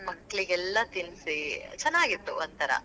ಮಕ್ಳಿಗೆಲ್ಲಾ ತಿನ್ಸಿ ಚೆನ್ನಾಗಿತ್ತು ಒಂಥರಾ.